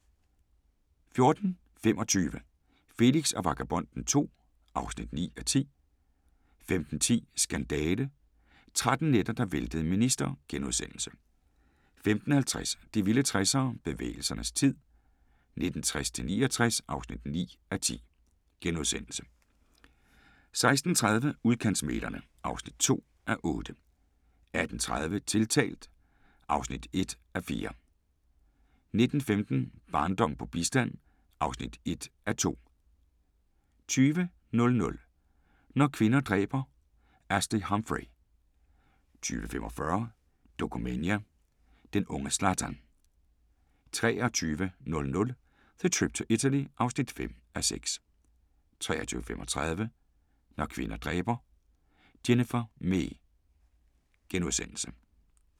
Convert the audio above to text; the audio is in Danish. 14:25: Felix og Vagabonden II (9:10) 15:10: Skandale – 13 nætter, der væltede en minister * 15:50: De vilde 60'ere: Bevægelsernes tid 1960-69 (9:10)* 16:30: Udkantsmæglerne (2:8) 18:30: Tiltalt (1:4) 19:15: Barndom på bistand (1:2) 20:00: Når kvinder dræber – Ashley Humphrey 20:45: Dokumania: Den unge Zlatan 23:00: The Trip to Italy (5:6) 23:35: Når kvinder dræber – Jennifer Mee *